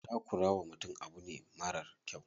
Takura wa mutum abu ne marar kyau.